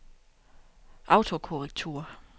autokorrektur